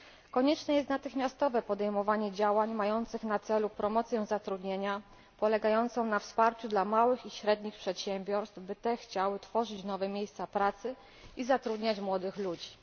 Konieczne jest natychmiastowe podjęcie działań mających na celu promocję zatrudnienia polegającą na wsparciu dla małych i średnich przedsiębiorstw, by chciały one tworzyć nowe miejsca pracy i zatrudniać młodych ludzi.